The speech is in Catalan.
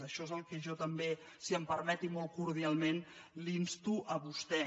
això és al que jo també si em permet i molt cordialment l’insto a vostè